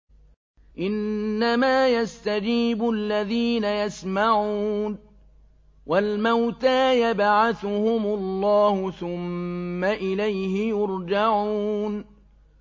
۞ إِنَّمَا يَسْتَجِيبُ الَّذِينَ يَسْمَعُونَ ۘ وَالْمَوْتَىٰ يَبْعَثُهُمُ اللَّهُ ثُمَّ إِلَيْهِ يُرْجَعُونَ